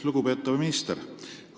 Lugupeetav minister!